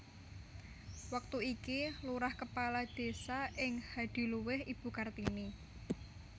Wektu iki lurah kepala désa ing Hadiluwih Ibu Kartini